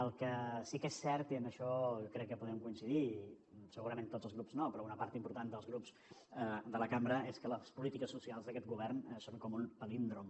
el que sí que és cert i en això crec que podem coincidir segurament tots els grups no però una part important dels grups de la cambra és que les polítiques socials d’aquest govern són com un palíndrom